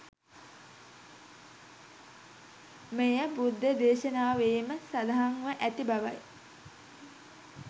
මෙය බුද්ධ දේශනාවේම සඳහන්ව ඇති බවයි.